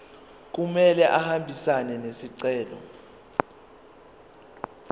kumele ahambisane nesicelo